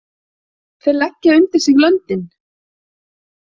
Þeir leggja undir sig löndin!